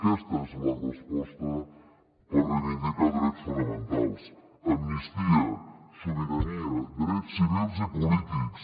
aquesta és la resposta per reivindicar drets fonamentals amnistia sobirania drets civils i polítics